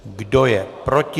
Kdo je proti?